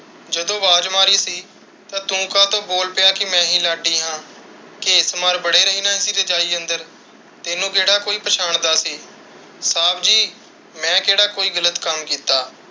ਜਦੋਂ ਆਵਾਜ਼ ਮਾਰੀ ਸੀ ਤੂੰ ਕਾਤੋਂ ਬੋਲ ਪਿਆ ਕਿ ਮੈਂ ਹੀ ਲਾਡੀ ਹਾਂ। ਘੇਸ ਮਾਰ ਬੜੇ ਰਹਿਣਾ ਸੀ ਰਜਾਈ ਅੰਦਰ, ਤੈਨੂੰ ਕਿਹੜਾ ਕੋਈ ਪਛਾਣਦਾ ਸੀ। ਸਾਬ ਜੀ, ਮੈਂ ਕਿਹੜਾ ਕੋਈ ਗਲਤ ਕੱਮ ਕੀਤਾ?